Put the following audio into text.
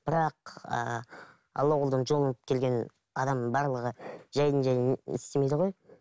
бірақ ыыы алла адам барлығы жайдан жай істемейді ғой